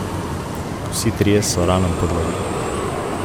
Vsi trije so ranam podlegli.